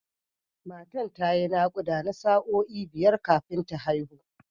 Matan ta yi naƙuda na sa’o’i biyar kafin ta haihu.